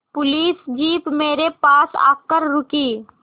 police jeep मेरे पास आकर रुकी